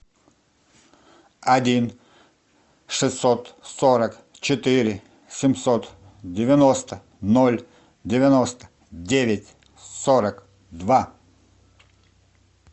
один шестьсот сорок четыре семьсот девяносто ноль девяносто девять сорок два